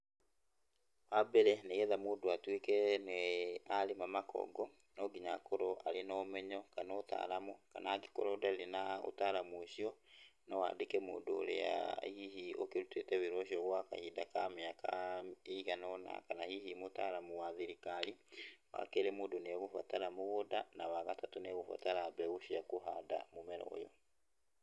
Wa mbere, nĩgetha mũndũ atũĩke nĩ arĩama makongo, no nginya akorwo arĩ na ũmenyo kana ũtaaramu, kana angĩkorwo ndarĩ na ũtaaramu ũcio, no aandĩke mũndũ ũrĩa hihi ũkĩrutĩte wĩra ũcio gwa kahinda ka mĩaka ĩigana ũna, kana hihi mũtaaramu wa thirikari. Wa kerĩ mũndũ nĩ egũbatara mũgũnda, na wa gatatũ nĩ ũgũbatara mbegũ cia kũhanda mũmera ũyũ.